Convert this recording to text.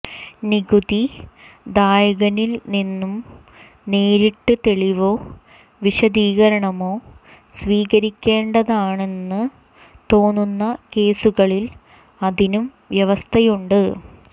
നികുതി ദായകനിൽനിന്നു നേരിട്ടു തെളിവോ വിശദീകരണമോ സ്വീകരിക്കേണ്ടതാണെന്നു തോന്നുന്ന കേസുകളിൽ അതിനും വ്യവസ്ഥയുണ്ട്